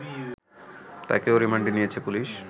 তাকেও রিমান্ডে নিয়েছে পুলিশ